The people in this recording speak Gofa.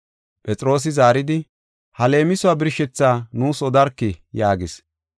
Phexroosi zaaridi, “Ha leemisuwa birshethaa nuus odarkii” yaagis.